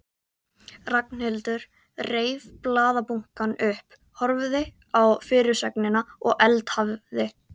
Ragnhildur reif blaðabunkann upp, horfði á fyrirsögnina og eldhafið.